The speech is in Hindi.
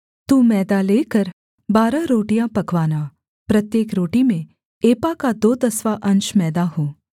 तू मैदा लेकर बारह रोटियाँ पकवाना प्रत्येक रोटी में एपा का दो दसवाँ अंश मैदा हो